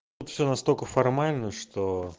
все настолько формально что